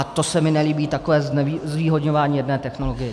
A to se mi nelíbí, takové zvýhodňování jedné technologie.